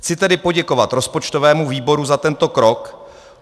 Chci tedy poděkovat rozpočtovému výboru za tento krok.